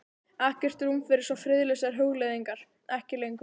Ekkert rúm fyrir svo friðlausar hugleiðingar: ekki lengur.